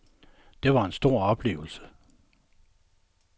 Den var en stor oplevelse.